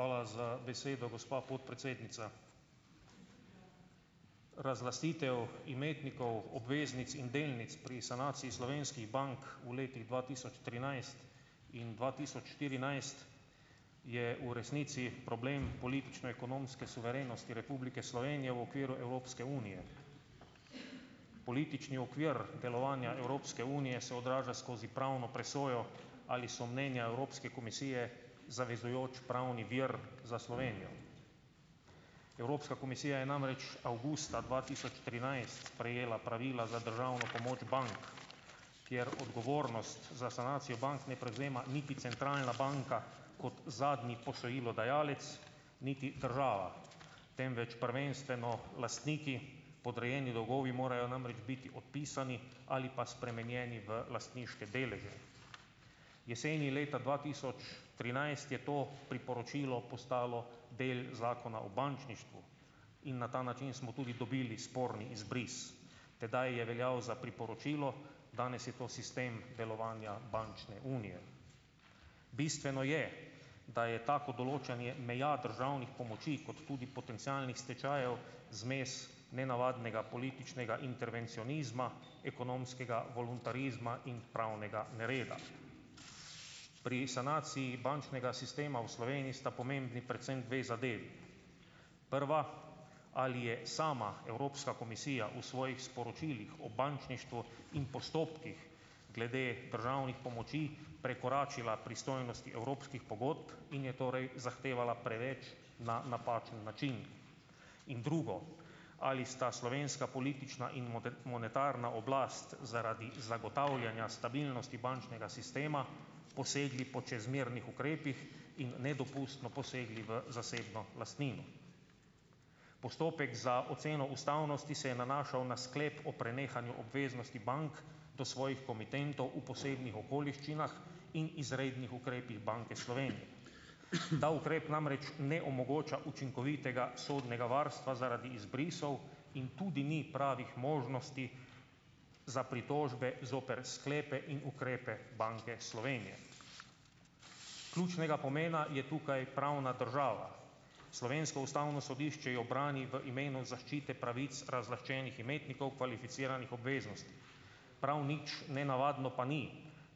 Hvala za besedo, gospa podpredsednica, razglasitev imetnikov obveznic in delnic pri sanaciji slovenskih bank v letih dva tisoč trinajst in dva tisoč štirinajst je v resnici problem politično-ekonomske suverenosti Republike Slovenije v okviru Evropske unije, politični okvir delovanja Evropske unije se odraža skozi pravno presojo, ali so mnenja Evropske komisije zavezujoč pravni vir za Slovenijo. Evropska komisija je namreč avgusta dva tisoč trinajst sprejela pravila za državno pomoč bank, kjer odgovornost za sanacijo bank ne prevzame niti centralna banka kot zadnji posojilodajalec niti država, temveč prvenstveno lastniki, podrejeni dolgovi morajo namreč biti odpisani ali pa spremenjeni v lastniške deleže, jeseni leta dva tisoč trinajst je to priporočilo postalo del zakona o bančništvu in na ta način smo tudi dobili sporni izbris, tedaj je veljav za priporočilo, danes je to sistem delovanja bančne unije. Bistveno je, da je tako določanje meja državnih pomoči kot tudi potencialnih stečajev zmes nenavadnega političnega intervencionizma, ekonomskega voluntarizma in pravnega nereda. Pri sanaciji bančnega sistema v Sloveniji sta pomembni predvsem dve zadevi; prva, ali je sama Evropska komisija v svojih sporočilih o bančništvu in postopkih glede državnih pomoči prekoračila pristojnosti evropskih pogodb in je torej zahtevala preveč, na napačen način, in drugo, ali sta slovenska politična in monetarna oblast zaradi zagotavljanja stabilnosti bančnega sistema posegli po čezmernih ukrepih in nedopustno posegli v zasebno lastnino. Postopek za oceno ustavnosti se je nanašal na sklep o prenehanju obveznosti bank do svojih komitentov v posebnih okoliščinah in izrednih ukrepih Banke Slovenije. Ta ukrep namreč ne omogoča učinkovitega sodnega varstva zaradi izbrisov in tudi ni pravih možnosti za pritožbe zoper sklepe in ukrepe Banke Slovenije. Ključnega pomena je tukaj pravna država, slovensko ustavno sodišče jo brani v imenu zaščite pravic razlaščenih imetnikov kvalificiranih obveznosti, prav nič nenavadno pa ni,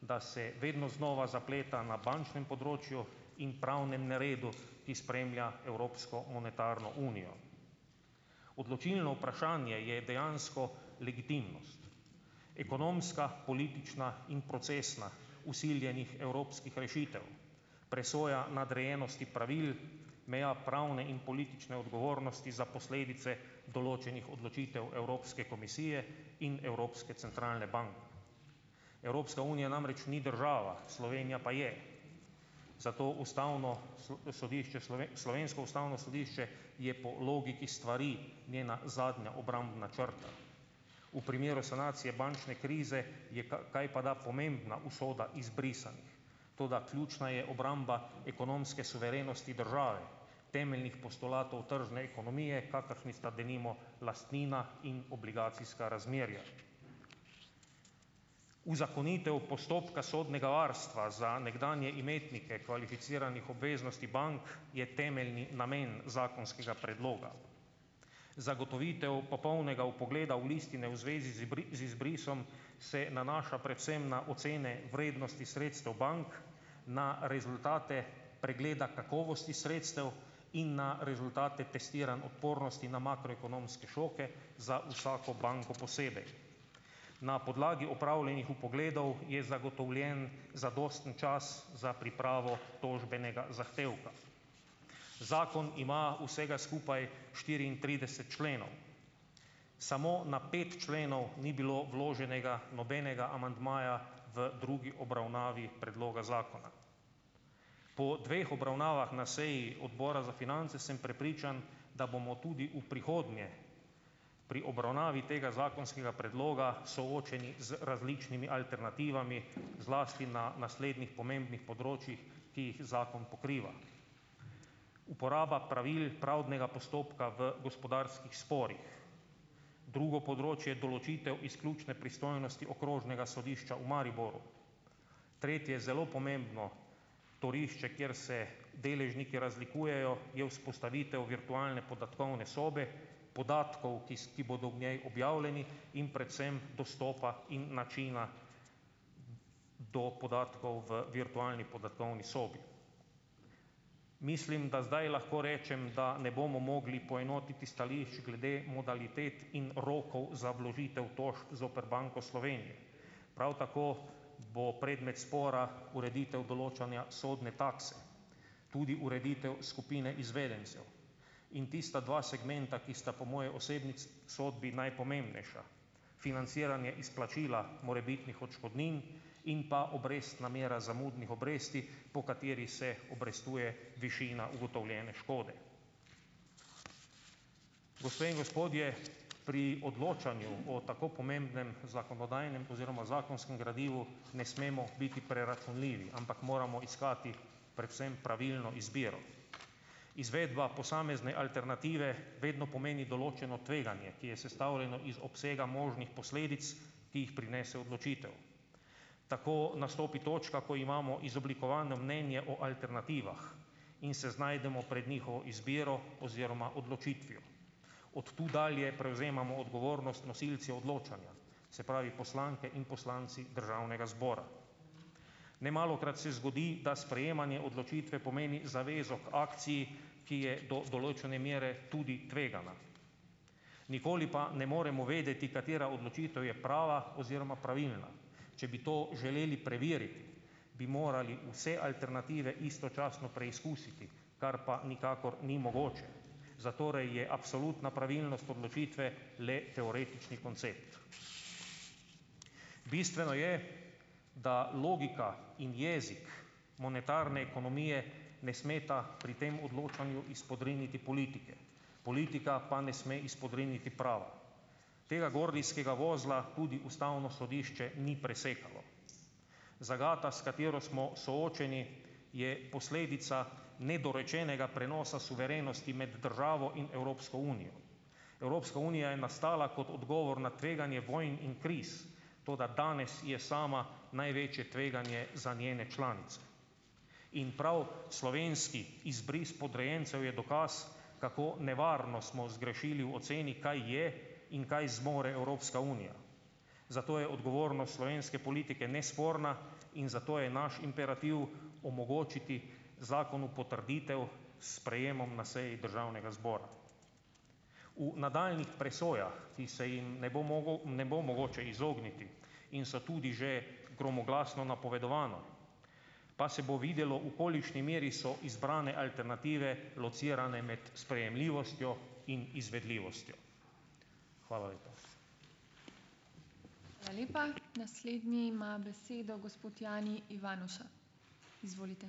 da se vedno znova zapleta na bančnem področju in pravnem neredu, ki spremlja Evropsko unijo monetarno. Odločilno vprašanje je dejansko legitimnost, ekonomska politična in procesna, vsiljenih evropskih rešitev, presoja nadrejenosti pravil, meja pravne in politične odgovornosti za posledice določenih odločitev Evropske komisije in evropske centralne Evropska unija namreč ni država, Slovenija pa je, zato ustavno sodišče slovensko ustavno sodišče je po logiki stvari njena zadnja obrambna črta, v primeru sanacije bančne krize je kajpada pomembna usoda izbrisanih, toda ključna je obramba ekonomske suverenosti države, temeljnih postulatov tržne ekonomije, kakršni sta denimo lastnina in obligacijska razmerja. Uzakonitev postopka sodnega varstva za nekdanje imetnike kvalificiranih obveznosti bank je temeljni namen zakonskega predloga. Zagotovitev popolnega vpogleda v listine v zvezi z izbrisom se nanaša predvsem na ocene vrednosti sredstev bank, na rezultate pregleda kakovosti sredstev in na rezultate testiranj odpornosti na makroekonomske šoke za vsako banko posebej, na podlagi opravljenih vpogledov je zagotovljen zadosten čas za pripravo tožbenega zahtevka. Zakon ima vsega skupaj štiriintrideset členov, samo na pet členov ni bilo vloženega nobenega amandmaja v drugi obravnavi predloga zakona. Po dveh obravnavah na seji odbora za finance sem prepričan, da bomo tudi v prihodnje pri obravnavi tega zakonskega predloga soočeni z različnimi alternativami, zlasti na naslednjih pomembnih področjih, ki jih zakon pokriva: uporaba pravil pravnega postopka v gospodarskih sporih, drugo področje, določitev izključne pristojnosti okrožnega sodišča v Mariboru, tretje, zelo pomembno torišče, kjer se deležniki razlikujejo, je vzpostavitev virtualne podatkovne sobe podatkov, ki bodo v njej objavljeni, in predvsem dostopa in načina do podatkov v virtualni podatkovni sobi, mislim, da zdaj lahko rečem, da ne bomo mogli poenotiti stališč glede modalitet in rokov za vložitev tožb zoper Banko Slovenije, prav tako bo predmet spora ureditev določanja sodne takse, tudi ureditev skupine izvedencev, in tista dva segmenta, ki sta po moji osebni sodbi najpomembnejša, financiranje izplačila morebitnih odškodnin in pa obrestna mera zamudnih obresti, po kateri se obrestuje višina ugotovljene škode. Gospe in gospodje, pri odločanju o tako pomembnem zakonodajnem oziroma zakonskem gradivu ne smemo biti preračunljivi, ampak moramo iskati predvsem pravilno izbiro, izvedba posamezne alternative vedno pomeni določeno tveganje, ki je sestavljeno iz obsega možnih posledic, ki jih prinese odločitev, tako nastopi točka, ko imamo izoblikovano mnenje o alternativah in se znajdemo pred njihovo izbiro oziroma odločitvijo, od tu dalje prevzemamo odgovornost nosilci odločanja, se pravi, poslanke in poslanci državnega zbora. Nemalokrat se zgodi, da sprejemanje odločitve pomeni zavezo k akciji, ki je do določene mere tudi tvegana, nikoli pa ne moremo vedeti, katera odločitev je prava oziroma pravilna, če bi to želeli preveriti, bi morali vse alternative istočasno preizkusiti, kar pa nikakor ni mogoče, zatorej je absolutna pravilnost odločitve le teoretični koncept. Bistveno je, da logika in jezik monetarne ekonomije ne smeta pri tem odločanju izpodriniti politike, politika pa ne sme izpodriniti prava, tega gordijskega vozla tudi ustavno sodišče ni presekalo. Zagata, s katero smo soočeni, je posledica nedorečenega prenosa suverenosti med državo in Evropsko unijo. Evropska unija je nastala kot odgovor na tveganje vojn in kriz, toda danes je sama največje tveganje za njene članice, in prav slovenski izbris podrejencev je dokaz, kako nevarno smo zgrešili v oceni, kaj je in kaj zmore Evropska unija, zato je odgovornost slovenske politike nesporna in zato je naš imperativ omogočiti zakon v potrditev s sprejemom na seji državnega zbora. V nadaljnjih presojah, ki se jim ne bo mogel, ne bo mogoče izogniti in so tudi že gromoglasno napovedovane, pa se bo videlo, v kolikšni meri so izbrane alternative locirane med sprejemljivostjo in izvedljivostjo. Hvala lepa.